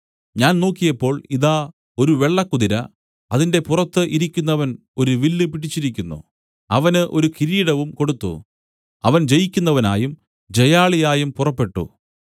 ഞാൻ നോക്കിയപ്പോൾ ഇതാ ഒരു വെള്ളക്കുതിര അതിന്റെ പുറത്ത് ഇരിക്കുന്നവൻ ഒരു വില്ല് പിടിച്ചിരിക്കുന്നു അവന് ഒരു കിരീടവും കൊടുത്തു അവൻ ജയിക്കുന്നവനായും ജയാളിയായും പുറപ്പെട്ടു